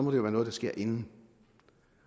være noget der sker inden